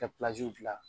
Ka dilan